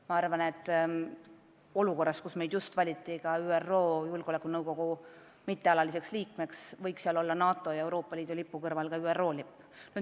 Ma arvan, et olukorras, kus meid just valiti ka ÜRO Julgeolekunõukogu mittealaliseks liikmeks, võiks seal Eesti, NATO ja Euroopa Liidu lipu kõrval olla ka ÜRO lipp.